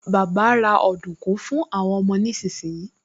Bàbá ra ọ̀dùnkún fún àwọn ọmọ nísinsìnyí